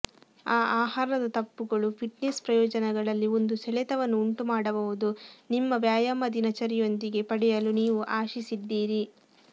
ಆ ಆಹಾರದ ತಪ್ಪುಗಳು ಫಿಟ್ನೆಸ್ ಪ್ರಯೋಜನಗಳಲ್ಲಿ ಒಂದು ಸೆಳೆತವನ್ನು ಉಂಟುಮಾಡಬಹುದು ನಿಮ್ಮ ವ್ಯಾಯಾಮ ದಿನಚರಿಯೊಂದಿಗೆ ಪಡೆಯಲು ನೀವು ಆಶಿಸಿದ್ದೀರಿ